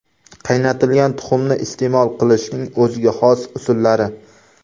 Qaynatilgan tuxumni iste’mol qilishning o‘ziga xos usullari.